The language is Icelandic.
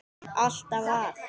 Alltaf að.